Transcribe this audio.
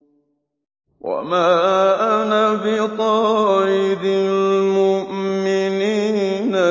وَمَا أَنَا بِطَارِدِ الْمُؤْمِنِينَ